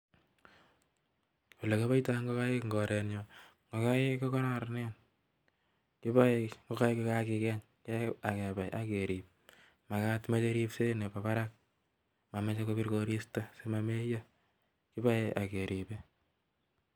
Olekipaitai ngokaik Eng Koren nyun ngokaik kokararan kilae ngokaik kokakigeny mameche koristu meche ripset Nepo parak simameyok